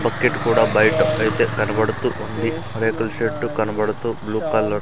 bucket కూడా బయట అయితే కనబడుతూ ఉంది రేకుల షెడ్డు కనబడుతూ బ్లూ కలర్ --